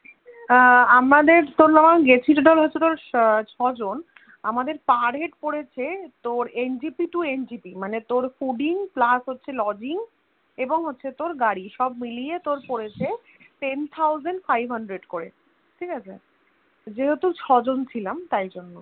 আমাদের Per Head পড়েছে তোর NGP to NGP মানে তোর foodingPlus হচ্ছে Lodging এবং হচ্ছে তোর গাড়ি সব মিলিয়ে তোর পড়েছে Ten Thousand Five Hundread করে ঠিকাছে যেহেতু ছজন ছিলাম তাইজন্য